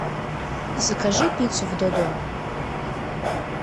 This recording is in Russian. закажи пиццу в додо